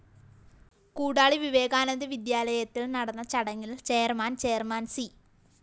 കൂടാളി വിവേകാനന്ദ വിദ്യാലയത്തില്‍ നടന്ന ചടങ്ങില്‍ ചെയർമാൻ ചെയര്‍മാന്‍ സി